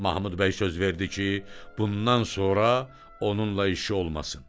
Mahmud bəy söz verdi ki, bundan sonra onunla işi olmasın.